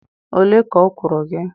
ole ka ọ kwụrụ gị?